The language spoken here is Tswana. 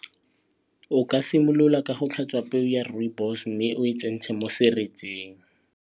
O ka simolola ka go tlhatswa peo ya rooibos mme o e tsentshe mo seretseng.